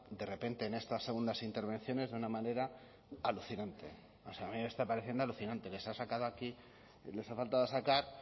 de repente en estas segundas intervenciones de una manera alucinante o sea a mí me está pareciendo alucinante les ha sacado aquí les ha faltado sacar